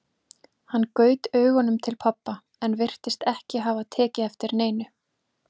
Hann gaut augunum til pabba, en hann virtist ekki hafa tekið eftir neinu.